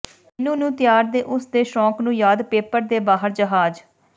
ਮੈਨੂੰ ਨੂੰ ਤਿਆਰ ਦੇ ਉਸ ਦੇ ਸ਼ੌਕ ਨੂੰ ਯਾਦ ਪੇਪਰ ਦੇ ਬਾਹਰ ਜਹਾਜ਼